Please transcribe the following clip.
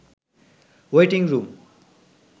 waiting room